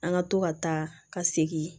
An ka to ka taa ka segin